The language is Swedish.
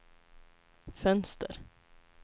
fönster